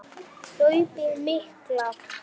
Hlaupið mikla